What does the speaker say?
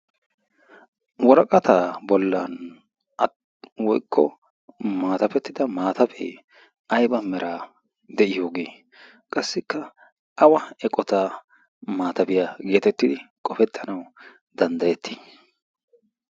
woraqataa bollan a woykko maatafettida maatafee ayba meraa de'iyooge qassikka awa eqota maatabiyaa geetettidi qofettanawu danddayettii